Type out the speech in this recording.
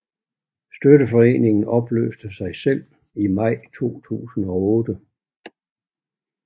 Støtteforeningen opløste sig selv i maj 2008